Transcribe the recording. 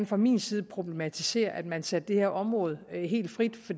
fra min side problematisere at man sætter det her område helt frit